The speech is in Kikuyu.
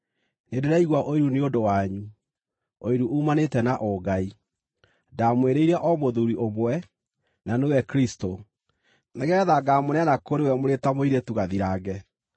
Nĩndĩraigua ũiru nĩ ũndũ wanyu, ũiru uumanĩte na ũngai. Ndamwĩrĩire o mũthuuri ũmwe, na nĩwe Kristũ, nĩgeetha ngaamũneana kũrĩ we mũrĩ ta mũirĩtu gathirange.